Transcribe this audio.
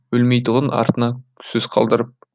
өлмейтұғын артына сөз қалдырып